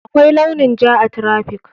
Akwai launin ja a traffic.